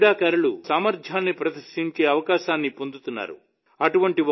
వీటిలో క్రీడాకారులు తమ సామర్థ్యాన్ని ప్రదర్శించే అవకాశాన్ని పొందుతున్నారు